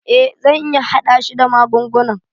Eh zan iya hada shi da magungunan.